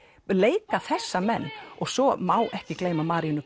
leika þessa menn og svo má ekki gleyma Maríönnu